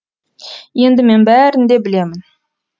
енді мен бәрін де білемін